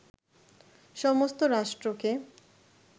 সমস্ত রাষ্ট্রকে